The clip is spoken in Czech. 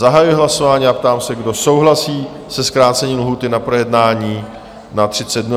Zahajuji hlasování a ptám se, kdo souhlasí se zkrácení lhůty na projednání na 30 dnů?